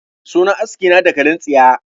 Sunan aski na dakalin tsiya